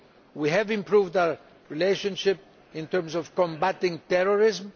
We have improved our relationship in terms of combating terrorism.